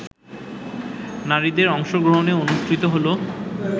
নারীদের অংশগ্রহণে অনুষ্ঠিত হল